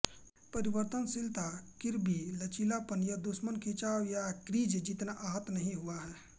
परिवर्तनशीलता किर्बी लचीलापन यह दुश्मन खिंचाव या क्रीज जितना आहत नहीं हुआ है